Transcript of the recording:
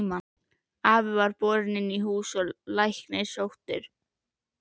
Afi var borinn inn í hús og læknir sóttur.